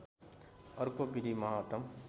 अर्को विधि महत्तम